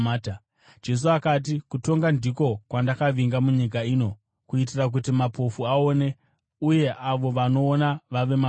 Jesu akati, “Kutonga ndiko kwandakavinga munyika ino, kuitira kuti mapofu aone uye avo vanoona vave mapofu.”